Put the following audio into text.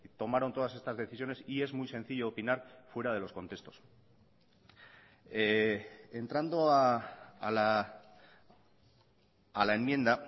tomaron todas estas decisiones y es muy sencillo opinar fuera de los contextos entrando a la enmienda